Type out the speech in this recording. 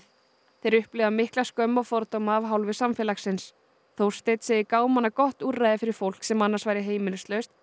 þeir upplifa mikla skömm og fordóma af hálfu samfélagins Þórsteinn segir gámana gott úrræði fyrir fólk sem annars væri heimilislaust